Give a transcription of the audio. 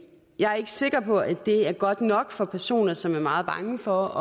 jeg er ikke sikker på at det er godt nok for personer som er meget bange for